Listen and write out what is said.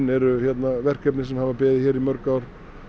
eru verkefni sem hafa beðið hér í mörg ár